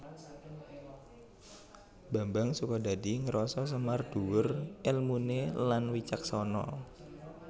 Bambang Sukodadi ngrasa Semar dhuwur èlmuné lan wicaksana